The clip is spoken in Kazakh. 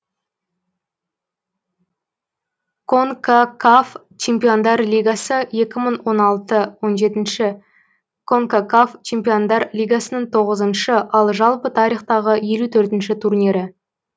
конкакаф чемпиондар лигасы екі мың он алты он жетінші конкакаф чемпиондар лигасының тоғызыншы ал жалпы тарихтағы елу төртінші турнирі